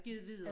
Givet videre